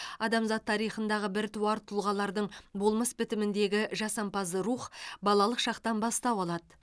адамзат тарихындағы біртуар тұлғалардың болмыс бітіміндегі жасампаз рух балалық шақтан бастау алады